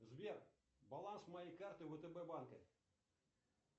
сбер баланс моей карты втб банка